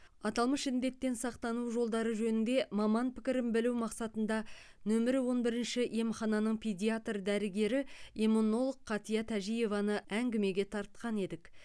аталмыш індеттен сақтану жолдары жөнінде маман пікірін білу мақсатында нөмірі он бірінші емхананың педиатр дәрігері иммунолог қатия тәжиеваны әңгімеге тартқан едік